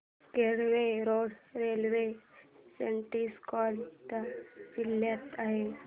Kelve road railway station कोणत्या जिल्ह्यात आहे